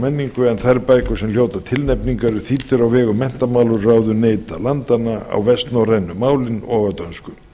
menningu en þær bækur sem hljóta tilnefningu eru þýddar á vegum menntamálaráðuneyta landanna á vestnorrænu málin og á dönsku